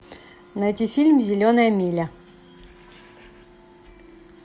найти фильм зеленая миля